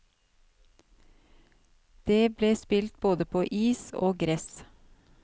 Det ble spilt både på is og gress.